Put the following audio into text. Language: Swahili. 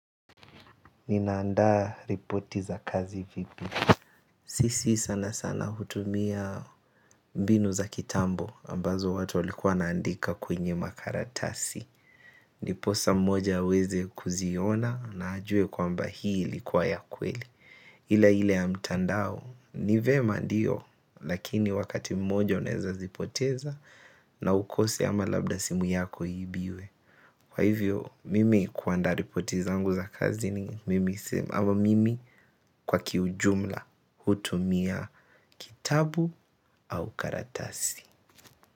Ninaandaa ripoti za kazi vipi? Sisi sana sana hutumia mbinu za kitambo ambazo watu walikuwa wanaandika kwenye makaratasi. Ndiposa mmoja aweze kuziona na ajue kwamba hii likuwa ya kweli. Ila ile ya mtandao. Ni vyema ndiyo lakini wakati mmoja unaeza zipoteza na ukose ama labda simu yako iibiwe. Kwa hivyo mimi kuandaa ripoti zangu za kazini mimi kwa kiujumla hutumia kitabu au karatasi.